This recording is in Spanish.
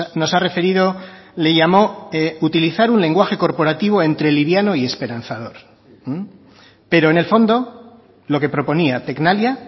nos ha referido le llamó utilizar un lenguaje corporativo entre liviano y esperanzador pero en el fondo lo que proponía tecnalia